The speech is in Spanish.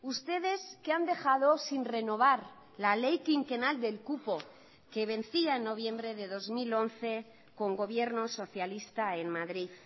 ustedes que han dejado sin renovar la ley quinquenal del cupo que vencía en noviembre de dos mil once con gobierno socialista en madrid